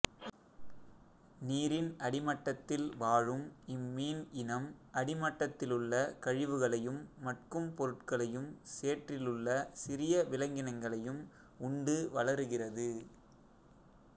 நீரின் அடிமட்டத்தில் வாழும் இம்மீன் இனம் அடிமட்டத்திலுள்ள கழிவுகளையும் மட்கும் பொருட்களையும் சேற்றிலுள்ள சிறிய விலங்கினங்களையும் உண்டு வளருகிறது